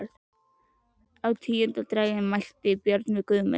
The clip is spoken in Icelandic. Á tíunda dægri mælti Björn við Guðmund